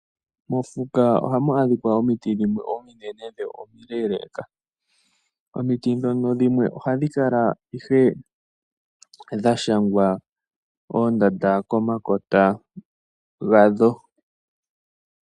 Mofuka ohamu adhika omiti dhimwe ominene dho omileeleka, omiti dhono dhimwe ohadhi kala ihe dhashangwa oondanda komakota gadho.